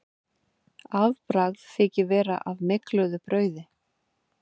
Afbragð þykir vera af mygluðu brauði.